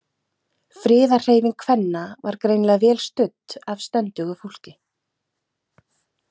Friðarhreyfing kvenna var greinilega vel studd af stöndugu fólki.